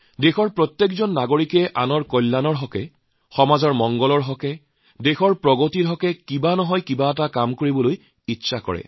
দেশৰ প্ৰতিগৰাকী নাগৰিকে আনৰ ভালৰ বাবে সমাজৰ ভালৰ বাবে দেশৰ উন্নতিৰ বাবে কিবা নহয় কিবা কৰিব বিচাৰে